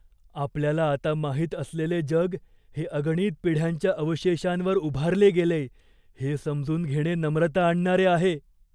आपल्याला आता माहित असलेले जग हे अगणित पिढ्यांच्या अवशेषांवर उभारले गेलेय हे समजून घेणे नम्रता आणणारे आहे.